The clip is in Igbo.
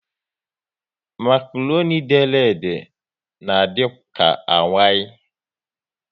Makroni dere ede na adika awai